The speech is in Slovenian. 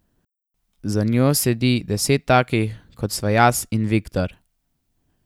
Za njo sedi deset takih, kot sva jaz in Viktor.